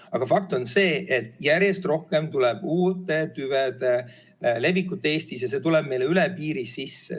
Aga fakt on see, et järjest rohkem levivad Eestis uued tüved ja need tulevad meile üle piiri sisse.